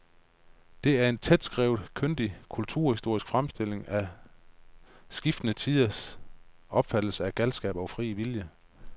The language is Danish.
Det er en tætskrevet, kyndig kulturhistorisk fremstilling af skiftende tiders opfattelse af galskab og fri vilje.